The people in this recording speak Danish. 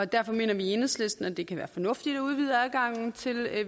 derfor mener vi i enhedslisten at det kan være fornuftigt at udvide adgangen til